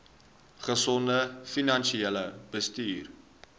gesonde finansiële bestuur